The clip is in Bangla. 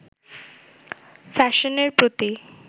ফ্যাশনের প্রতি